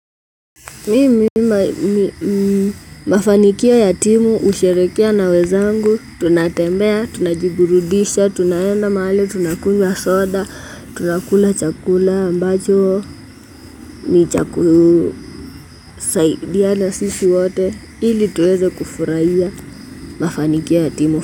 Mimi mafanikio ya timu, husherehekea na wenzangu. Tunatembea, tunajiburudisha, tunaenda mahali, tunakunywa soda, tunakula chakula ambacho, ni chakula, kinachotusaidia sisi wote, ili tuweze kufurahia mafanikio ya timu.